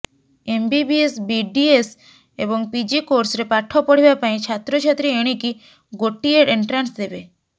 MBBS BDS ଏବଂ PG କୋର୍ସରେ ପାଠ ପଢିବା ପାଇଁ ଛାତ୍ରଛାତ୍ରୀ ଏଣିକି ଗୋଟିଏ ଏଣ୍ଟ୍ରାନ୍ସ ଦେବେ